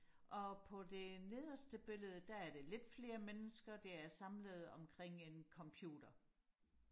og på det nederste billede der er det lidt flere mennesker der er samlet omkring en computer